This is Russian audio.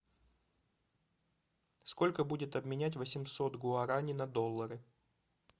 сколько будет обменять восемьсот гуарани на доллары